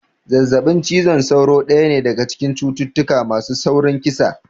Zazzaɓin cizon sauro daya ne daga cikin cututtuka masu saurin kisa